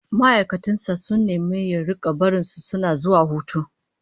Ma'aikatan sa sun nemi ya rika barin su suna zuwa hutu